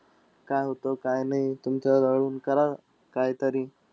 काय होत काय नाई. तुमच्याजवळुन करा काईतरी.